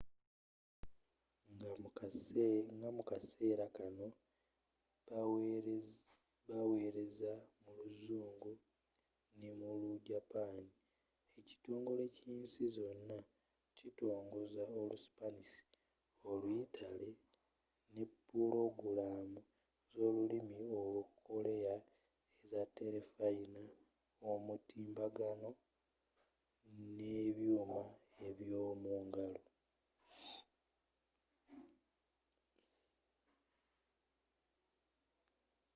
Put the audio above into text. nga mu kaseera kanno baweereza mu luzungu ne mu lu japani ekitongole kyensi zonna kitongoza olu sipanisi oluyitale ne pulogulamu zolulimi olukoleya eza telefayina omutimbagano nebyuuma eb'yomungalo